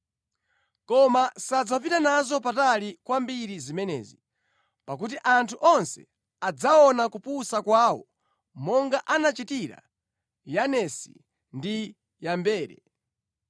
Koma sadzapita nazo patali kwambiri zimenezi, pakuti anthu onse adzaona kupusa kwawo monga anachitira Yanesi ndi Yambere.